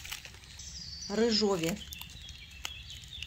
рыжове